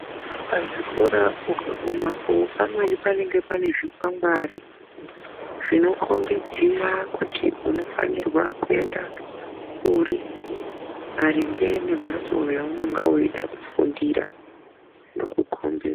Pazvikora ukagumapo pamweni panenge panezvikwangwari zvinokhombidzira kuti unofanirwa kuenda kuri maringe nemhatso yaunonge weida kufundira, inokukhombedza